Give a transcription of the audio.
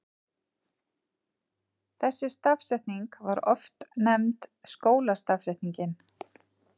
Þessi stafsetning var oft nefnd skólastafsetningin.